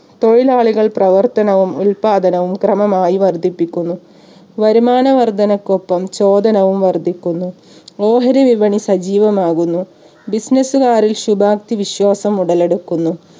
തൊഴിലാളികൾ പ്രവർത്തനവും ഉത്പാദനവും ക്രമമായി വർധിപ്പിക്കുന്നു. വരുമാന വർധനക്കൊപ്പം ചോദനവും വർധിക്കുന്നു. ഓഹരി വിപണി സജീവമാകുന്നു business കാരിൽ ശുഭാപ്‌തി വിശ്വാസം ഉടലെടുക്കുന്നു